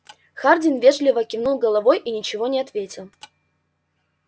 хардин вежливо кивнул головой и ничего не ответил